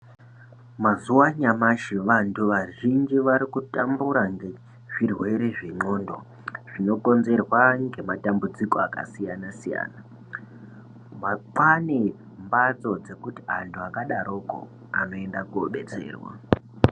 Mazuwa anyamashi vantu vazhinji varikutambura ngezvirwere zvendxondo zvinokonzerwa ngematambudziko akasiyana siyana, kwane mbatso dzekuti anthu akadarokwo anoenda kodetserwa.